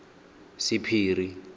sephiri